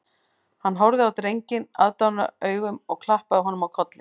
Hann horfði á drenginn aðdáunaraugum og klappaði honum á kollinn